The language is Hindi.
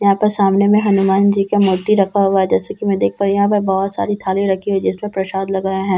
यहां पर सामने में हनुमान जी के मूर्ति रखा हुआ जैसे कि मैं देख पा यहां पर बहोत सारी थाली रखी है जिसमें प्रसाद लगाए हैं।